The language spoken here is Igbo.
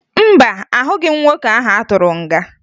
Mba, ahụghị m nwoke ahụ atụrụ nga.